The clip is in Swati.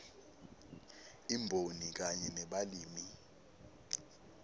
imboni kanye nebalimi